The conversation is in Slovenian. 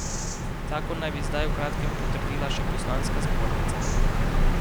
Zakon naj bi zdaj v kratkem potrdila še poslanska zbornica.